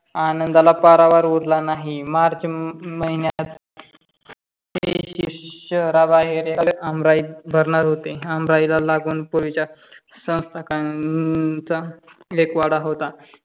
आनंदाला पारावार उरला नाही. मार्च महिन्यात ही शहरा बाहेर आमराई भरणार होते. आमराईला लागून पूर्वीची संसठकाच्या अक वाडा होता.